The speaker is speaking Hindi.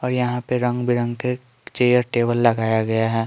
और यहां पे रंग बिरंगे के चेयर टेबल लगाया गया है।